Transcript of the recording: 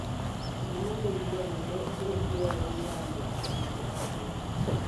Ngima nĩ irio nene iria irĩyagwo nĩ andũ aingĩ a Kenya.